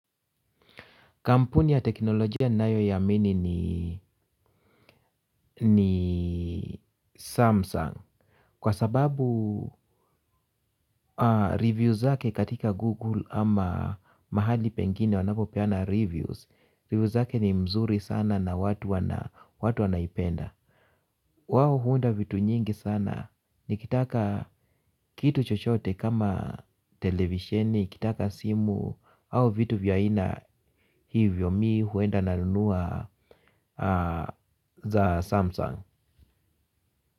Kampuni ya teknolojia ninayoiamini ni Samsung. Kwa sababu review zake katika Google ama mahali pengine wanapopeana reviews. Reviews zake ni mzuri sana na watu wanaipenda. Wao huunda vitu nyingi sana. Nikitaka kitu chochote kama televisheni, nikitaka simu au vitu vya aina hivyo mimi huenda nanunua za Samsung.